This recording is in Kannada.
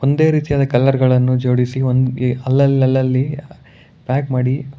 ಒಂದೇ ರೀತಿಯಾದ ಕಲರ್ ಗಳನ್ನು ಜೋಡಿಸಿ ಒಂದು ಅಲ್ಲಲ್ಲಲ್ಲಿ ಪ್ಯಾಕ್ ಮಾಡಿ--